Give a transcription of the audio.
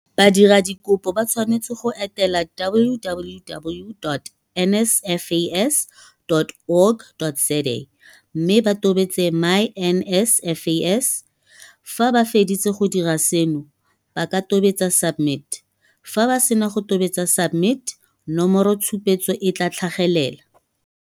Badiradikopo ba tshwanetse go etela www.nsfas.org.za mme ba tobetse myNSFAS. Fa ba feditse go dira seno, ba ka tobetsa SUBMIT. Fa ba sena go tobetsa SUBMIT, nomoro tshupetso e tla tlhagelela.